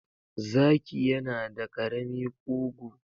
Zaki yana da ƙarami ƙugu